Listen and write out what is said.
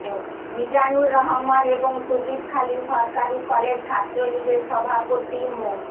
মিজানুর রহমান এবং সুবিদখালী সরকারি কলেজ ছাত্রলীগের সভাপতি মো